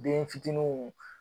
Denfiitininw